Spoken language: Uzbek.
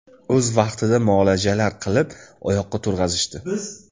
O‘z vaqtida muolajalar qilib, oyoqqa turg‘azishdi.